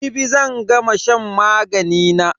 Jibi zan gama shan magani na.